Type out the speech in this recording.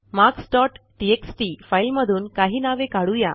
marks dot TXT फाईलमधून काही नावे काढू या